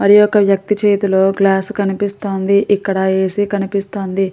మరియొక్క వ్యక్తి చేతిలో గ్లాసు కనిపిస్తోంది. ఇక్కడ ఏ. సి. కనిపిస్తోంది.